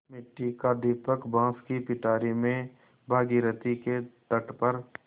मिट्टी का दीपक बाँस की पिटारी में भागीरथी के तट पर